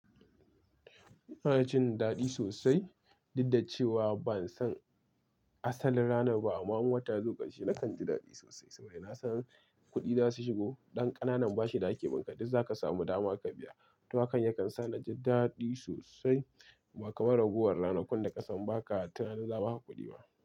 Ina jin daɗi sosai, duddacewa ban san asalin ranar ba amma in wata yazo ƙarshe nakan ji daɗi sosai saboda na san kuɗi za su shigo. Ɗan ƙanana bashi da ake bunka. Duk za ka samu dama ka biya." Wato hakan yakan sa na ji daɗi sosai ba kamar ragowar ranakun da kasan ba ka tunanin za a baka kuɗi ba.